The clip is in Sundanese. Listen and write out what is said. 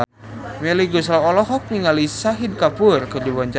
Melly Goeslaw olohok ningali Shahid Kapoor keur diwawancara